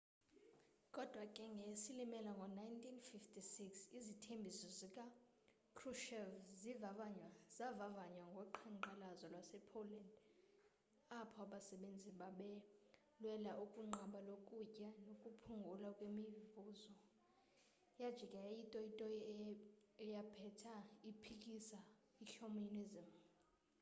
kodwa ke ngeyesilimela ngo-1956 izithembiso zika-kruchev zavavanywa ngo qhanqalazo lwase-poland apho anasebenzi babelwela ukunqaba lokutya nokuphungulwa kwemivuzo yaijika yayitoyitoyi eyaphetha iphikisa i-communism